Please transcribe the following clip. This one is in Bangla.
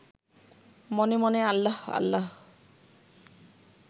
মনে মনে আল্লাহ আল্লাহ